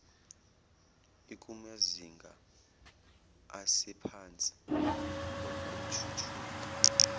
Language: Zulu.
ikumazinga asephansi okuthuthuka